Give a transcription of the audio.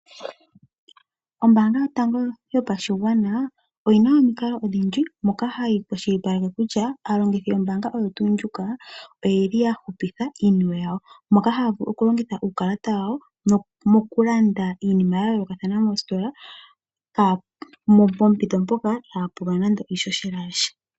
Ombaanga yotango yopashigwana oyina omikalo odhindji moka hayi kwashilipaleke kutya aalongithi yombaanga oyo tuu ndjika oyeli yahupitha iiniwe yawo, moka haavulu okulongitha uukalata wawo mokulanda iinima yayoolokathana moositola, pompito mpoka ihaa pulwa nando iishoshela yasha.